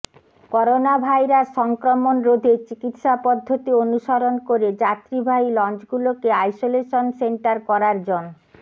coronavirus সংক্রমণ রোধে চিকিৎসা পদ্ধতি অনুসরণ করে যাত্রীবাহী লঞ্চগুলোকে আইসোলেশন সেন্টার করার জন